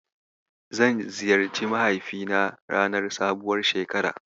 Zan ziyarci mahaifina ranar sabuwar shekara.